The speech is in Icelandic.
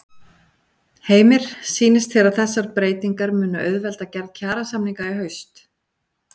Heimir: Sýnist þér að þessar breytingar munu auðvelda gerð kjarasamninga í haust?